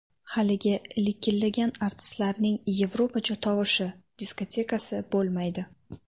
Haligi likillagan artistlarning yevropacha tovushi, diskotekasi bo‘lmaydi.